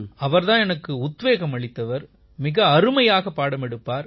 அவர் தான் எனக்கு உத்வேகம் அளித்தவர் மிக அருமையாக பாடம் எடுப்பார்